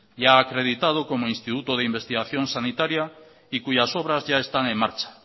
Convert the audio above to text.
ya acreditado como instituto de investigación sanitaria y cuyas obras ya están en marcha